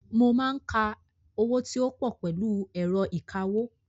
Mo máa ń ka owó tí ó pọ̀ pẹ̀lú ẹ̀rọ ìkawó.